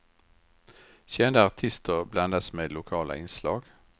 Kända artister blandas med lokala inslag.